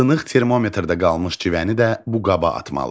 Sınıq termometrdə qalmış civəni də bu qaba atmalı.